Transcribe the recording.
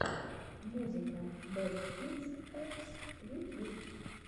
музыка бэст кидс эппс ютьюб